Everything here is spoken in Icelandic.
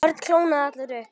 Örn kólnaði allur upp.